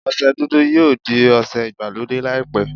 Ọsẹ dúdú yóò di ọsẹ ìgbàlódé laipẹ.